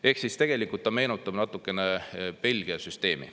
Ehk tegelikult see meenutab natukene Belgia süsteemi.